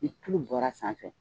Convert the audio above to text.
Ni tulu bɔra sanfɛ